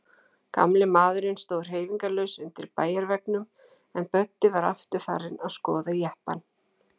Gamli maðurinn stóð hreyfingarlaus undir bæjarveggnum, en Böddi var aftur farinn að skoða jeppann.